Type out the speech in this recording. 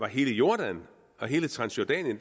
hele jordan og hele transjordanien